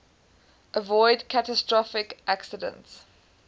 avoid catastrophic accidents